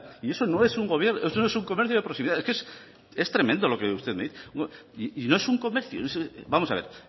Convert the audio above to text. y eso no es un comercio de proximidad es tremendo lo que usted me dice y no es un comercio vamos a ver